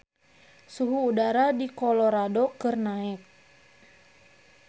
Suhu udara di Colorado keur naek